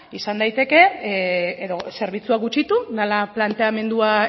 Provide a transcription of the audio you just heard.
izan daiteke edo zerbitzuak gutxitu dela planteamendua